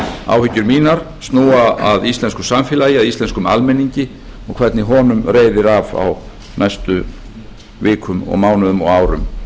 áhyggjur mínar snúa að íslensku samfélagi að íslenskum almenningi og hvernig honum reiðir af á næstu vikum mánuðum og árum